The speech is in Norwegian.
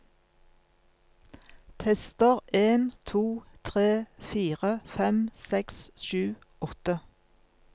Tester en to tre fire fem seks sju åtte